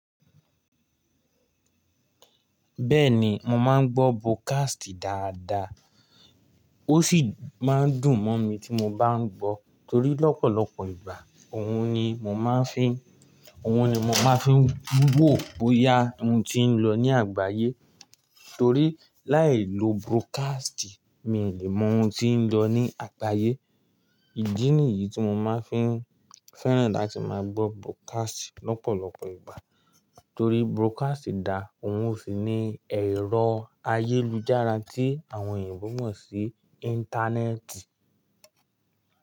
Bẹ́ẹ̀ni, mò máa ń gbọ́ broadcast dáadáa. Ó sì máa ń dùn mọ́ mi tí mò bá ń gbọ́ torí lọ́pọ̀lọpọ̀ ìgbà òhun ni mò máa ń fi, òhun ni mò máa ń fi wò bóyá ohun ti ń lọ ní àgbáyé. Torí láìlo broadcast mi ò lè mọ ohun tí ń lọ ní àgbáyé. Ìdí nìyí tí mo máa ń fi fẹ́ràn láti máa gbọ́ broadcast lọ́pọ̀lọpọ̀ ìgbà torí broadcast dá òun ó sì ní ẹ̀rọ ayélujára tí àwọn eyinbo mọ̀ sí Íńtánẹ́ẹ̀tì.